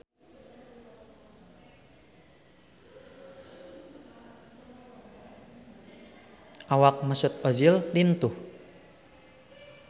Awak Mesut Ozil lintuh